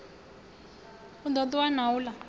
u ḓo ṱuwa na uḽa